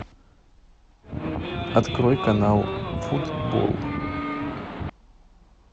открой канал футбол